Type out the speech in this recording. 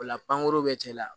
O la pankurun bɛ cɛla